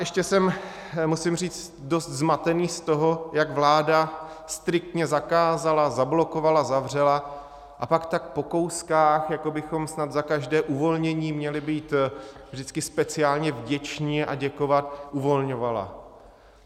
Ještě jsem, musím říct, dost zmatený z toho, jak vláda striktně zakázala, zablokovala, zavřela, a pak tak po kouskách, jako bychom snad za každé uvolnění měli být vždycky speciálně vděčni a děkovat, uvolňovala.